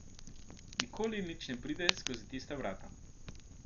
Nikoli nič ne pride skozi tista vrata.